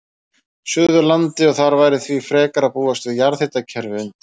Suðurlandi, og þar væri því frekar að búast við jarðhitakerfi undir.